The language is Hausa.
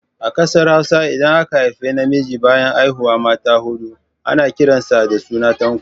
A Ƙasar Hausa, idan aka haifu namiji bayan haihuwar mata huɗu, to ana kiran sa da suna Tanko